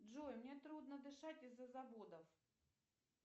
джой мне трудно дышать из за заводов